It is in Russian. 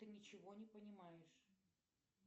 ты ничего не понимаешь